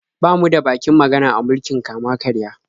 Ba mu da bakin magana a mulkin kama-karya.